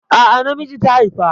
A'a, namiji ta haifa.